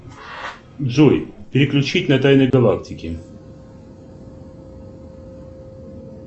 джой переключить на тайны галактики